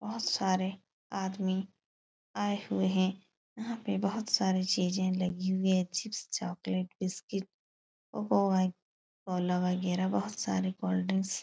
बोहोत सारे आदमी आए हुए हैं। यहाँ पे बोहोत सारी चीजें लगी हुई हैं। चिप्स चॉकलेट बिस्किट बोहोत सारे कोल्ड ड्रिंक्स --